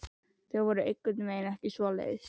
Þau voru einhvern veginn ekki svoleiðis.